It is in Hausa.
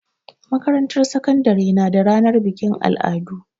Makarantar sakandare na da ranar bikin al'adu.